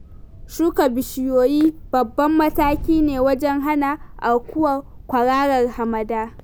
Shuka bishiyoyi babban mataki ne wajen hana aukuwar kwararar hamada.